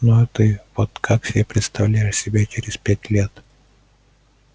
ну а ты вот как себе представляешь себя через пять лет